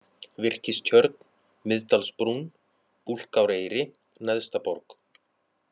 Virkistjörn, Miðdalsbrún, Búlkáreyri, Neðstaborg